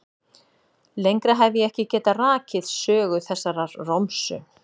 Lengra hef ég ekki getað rakið sögu þessarar romsu.